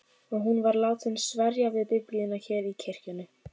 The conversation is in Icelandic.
Og hún var látin sverja við Biblíuna hér í kirkjunni.